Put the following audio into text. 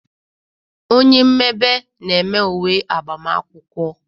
Onye mmebe na-eme uwe agbamakwụkwọ